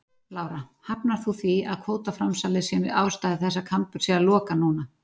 Lára: Hafnar þú því að kvótaframsalið sé ástæða þess að Kambur sé að loka núna?